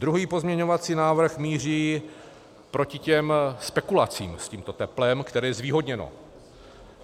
Druhý pozměňovací návrh míří proti těm spekulacím s tímto teplem, které je zvýhodněno.